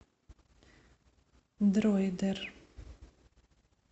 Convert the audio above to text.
дроидер